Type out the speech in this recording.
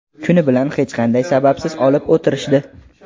Kuni bilan hech qanday sababsiz olib o‘tirishdi.